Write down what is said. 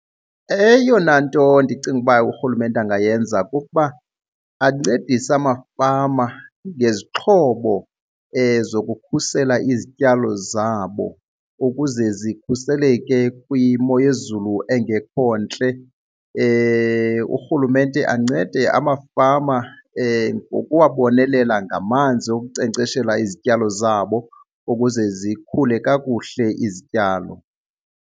Eyona nto ndicinga uba urhulumente angayenza kukuba ancedise amafama ngezixhobo zokukhusela izityalo zabo ukuze zikhuseleke kwimo yezulu engekho ntle. Urhulumente ancede amafama ngokubabonelela ngamanzi wokunkcenkceshela izityalo zabo ukuze zikhule kakuhle izityalo.